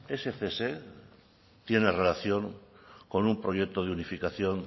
ese cese tiene relación con un proyecto de unificación